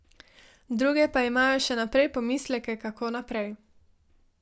Druge pa imajo še naprej pomisleke, kako naprej.